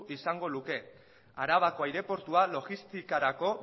izango luke arabako aireportua logistikarako